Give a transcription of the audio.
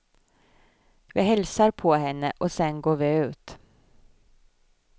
Vi hälsar på henne och sen går vi ut.